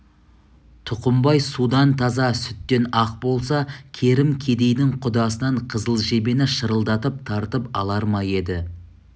тұқымбай судан таза сүттен ақ болса керім кедейдің құдасынан қызыл жебені шырылдатып тартып алар ма еді